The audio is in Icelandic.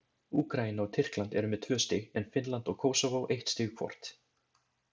Úkraína og Tyrkland eru með tvö stig en Finnland og Kósóvó eitt stig hvort.